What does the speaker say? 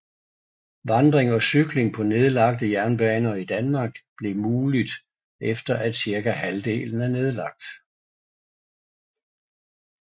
Vandring og cykling på nedlagte jernbaner i Danmark blev muligt efter at cirka halvdelen er nedlagt